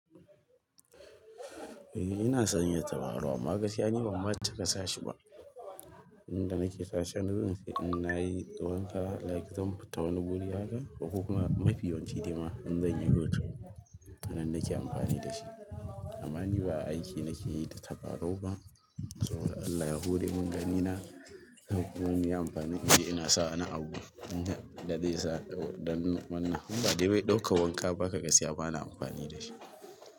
Eh ina sanya tabarau, amma gaskiya bamma cika sa shi ba. Inda nake sashen, zanje in nayi wanka like zan fita wani guri haka ko kuma mafi yawanci dai ma in zanyi hoto nan nake amfani da shi. Amma ni ba aiki nakeyi da tabarau ba saboda Allah ya hore min ganina, duk wadda ya amfani da shi ina sa na abu inda zai sa don wannan. In bawai don ɗauka wanka baka gasiya bana amfani da shi.